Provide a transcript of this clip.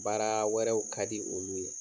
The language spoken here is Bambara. Baaraa wɛrɛw kadi olu ye.